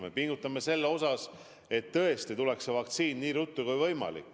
Me pingutame selle nimel, et tõesti tuleks see vaktsiin nii ruttu kui võimalik.